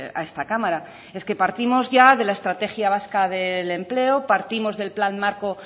a esta cámara es que partimos ya de la estrategia vasca de empleo partimos del plan marco